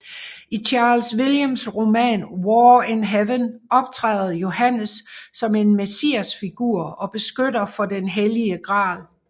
I Charles Williams roman War in Heaven optræder Johannes som en messiasfigur og beskytter for den hellige gral